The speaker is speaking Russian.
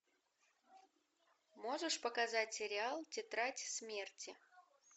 можешь показать сериал тетрадь смерти